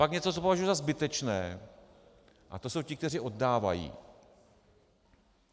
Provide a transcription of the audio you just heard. Pak něco, co považuji za zbytečné, a to jsou ti, kteří oddávají.